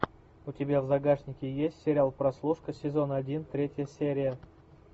у тебя в загашнике есть сериал прослушка сезон один третья серия